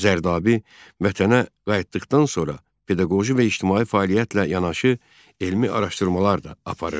Zərdabi vətənə qayıtdıqdan sonra pedaqoji və ictimai fəaliyyətlə yanaşı, elmi araşdırmalar da aparırdı.